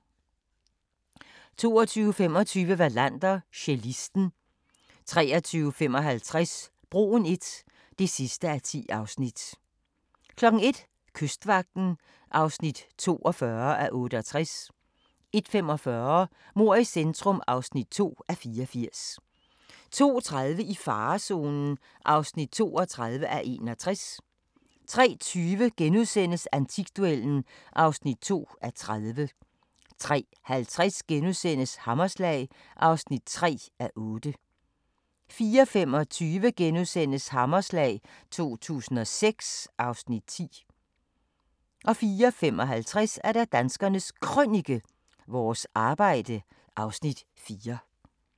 22:25: Wallander: Cellisten 23:55: Broen I (10:10) 01:00: Kystvagten (42:68) 01:45: Mord i centrum (2:84) 02:30: I farezonen (32:61) 03:20: Antikduellen (2:30)* 03:50: Hammerslag (3:8)* 04:25: Hammerslag 2006 (Afs. 10)* 04:55: Danskernes Krønike – Vores arbejde (Afs. 4)